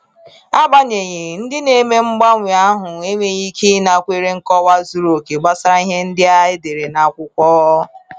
Agbanyeghị, ndị na-eme mgbanwe ahụ enweghị ike ịnakwere nkọwa zuru oke gbasara ihe ndị e dere n’akwụkwọ.